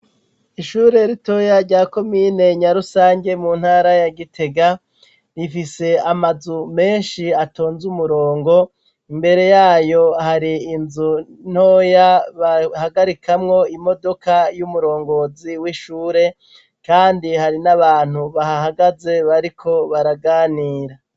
Ishure ritoya rya komine Nyarusange mu ntara ya Gitega, rifise amazu menshi atonz' umurongo, imbere yayo hari inzu ntoya bahagarikamwo imodoka y'umurongozi w'ishure kandi hari n'abantu bahahagaze bariko baraganira